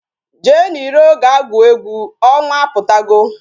Jee n'iro ga-gwuo egwu, ọnwa apụtago